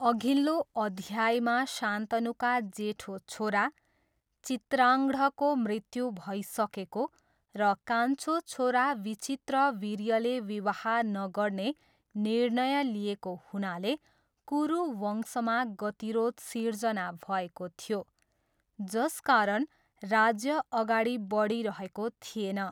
अघिल्लो अध्यायमा शान्तनुका जेठो छोरा चित्राङ्ढको मृत्यु भइसकेको र कान्छो छोरा विचित्रवीर्यले विवाह नगर्ने निर्णय लिएको हुनाले कुरु वंशमा गतिरोध सृजना भएको थियो जसकारण राज्य अगाडि बढिरहेको थिएन।